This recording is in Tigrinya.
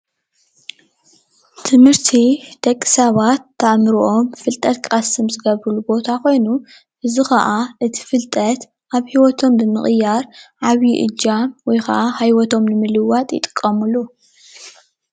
ትምህርቲ ደቂሰባት ኣእሞሮኦም ፋልጠት ኽቀስሙሉ ዝገብሩሉ ቦታ ኾይኑ እዚ ኸዓ እት ፍልጠት ሂወት ይቅይርሉ።